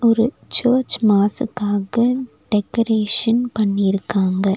ஒரு சர்ச் மாசுக்காக டெக்கரேஷன் பண்ணிருக்காங்க.